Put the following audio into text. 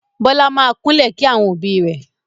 Bọlá máa kúnlẹ̀ kí àwọn òbí rẹ̀